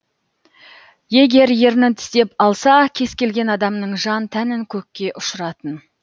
егер ернін тістеп алса кез келген адамның жан тәнін көкке ұшыратын